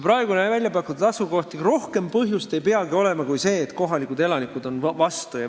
Ega rohkem põhjust ei peagi olema kui see, et kohalikud elanikud on vastu.